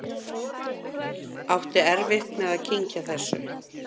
Átti erfitt með að kyngja þessu.